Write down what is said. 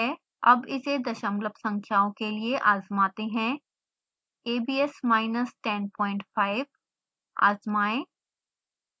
अब इसे दशमलव संख्याओं के लिए आज़माते हैंa b s minus 105 आजमाएं